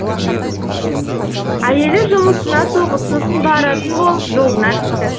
әйелі жұмысына соғып сосын баратын болып жолына түсті